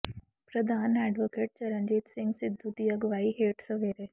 ਪ੍ਰਧਾਨ ਐਡਵੋਕੇਟ ਚਰਨਜੀਤ ਸਿੰਘ ਸਿੱਧੂ ਦੀ ਅਗਵਾਈ ਹੇਠ ਸਵੇਰੇ